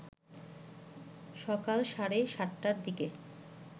সকাল সাড়ে ৭টার দিকে